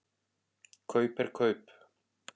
Kaup er kaup.